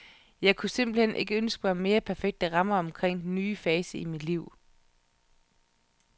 Jeg kunne simpelthen ikke ønske mig mere perfekte rammer omkring denne nye fase i mit liv.